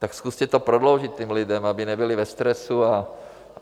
Tak zkuste to prodloužit těm lidem, aby nebyli ve stresu.